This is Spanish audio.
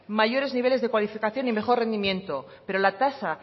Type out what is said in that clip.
mayores niveles de cualificación y mejor rendimientos pero la tasa